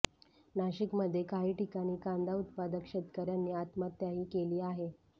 नाशिकमध्ये काही ठिकाणी कांदा उत्पादक शेतकऱ्यांनी आत्महत्याही केली आहे